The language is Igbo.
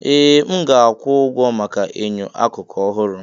Ee! M ga-akwụ ụgwọ maka enyo akụkụ ọhụrụ.